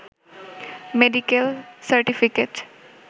medical certificate